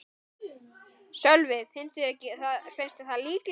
Sölvi: Finnst þér það líklegt?